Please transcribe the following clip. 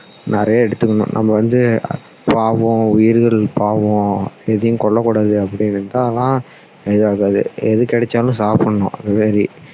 நிறைய எடுத்துக்கணும் நம்ம வந்து பாவம் உயிர்களுக்கு பாவம் எதையுமே கொல்ல கூடாது அப்படின்னு இருந்தாலாம் ஆகாது எது கிடைச்சாலும் சாப்பிடணும் அது மாதிரி